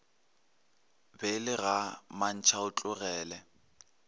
be e le ga mantšhaotlogele